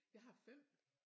Jeg har 5